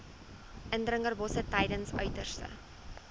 indringerbosse tydens uiterste